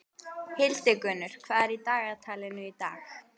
Hildigunnur, hvað er í dagatalinu í dag?